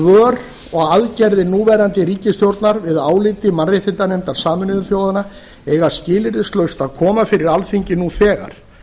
svör og aðgerðir núverandi ríkisstjórnar við áliti mannréttindanefndar sameinuðu þjóðanna eiga skilyrðislaust að koma fyrir alþingi nú þegar